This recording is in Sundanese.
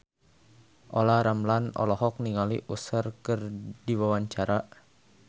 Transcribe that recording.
Olla Ramlan olohok ningali Usher keur diwawancara